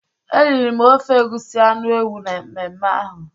Eriri m ofe egusi anu ewu na mmeme ahu.